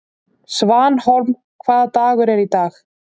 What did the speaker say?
Svanhólm, hvaða dagur er í dag?